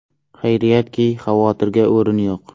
Xayriyatki, xavotirga o‘rin yo‘q.